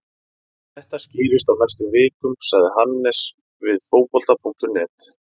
Þetta skýrist á næstu vikum, sagði Hannes við Fótbolta.net.